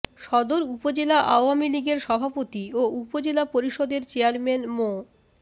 সদর উপজেলা আওয়ামী লীগের সভাপতি ও উপজেলা পরিষদের চেয়ারম্যান মো